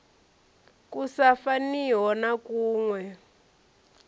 ku sa faniho na kuwe